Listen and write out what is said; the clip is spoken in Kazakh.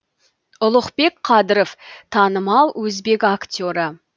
ұлықбек қадыров танымал өзбек актері